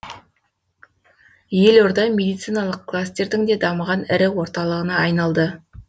елорда медициналық кластердің де дамыған ірі орталығына айналды